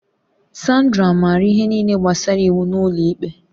Sandra maara ihe niile gbasara iwu n'ụlọ ikpe